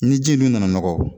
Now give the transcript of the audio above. Ni ji in dun nana nɔgɔ